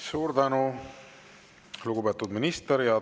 Suur tänu, lugupeetud minister!